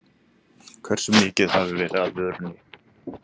Hve mikið hafi verið af vörunni?